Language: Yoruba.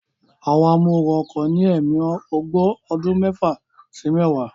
Àwọn amóooru ọkọ̀ ní ẹ̀mí ogbó ọdún mẹ́fà sí mẹ́wàá